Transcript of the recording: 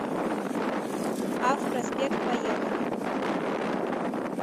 ав проспект поехали